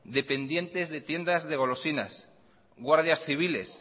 dependientes de tiendas de golosinas guardias civiles